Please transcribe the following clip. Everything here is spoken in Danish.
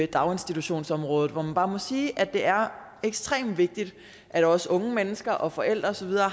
daginstitutionsområdet man må bare sige at det er ekstremt vigtigt at også unge mennesker og forældre og så videre